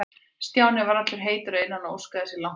Stjáni var allur heitur að innan og óskaði sér langt í burtu.